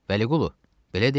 Vəliqulu, belə deyilmi?